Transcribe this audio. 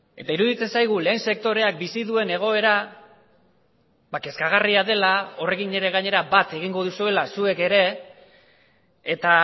eta iruditzen zaigu lehen sektoreak bizi duen egoera kezkagarria dela horrekin ere gainera bat egingo duzuela zuek ere eta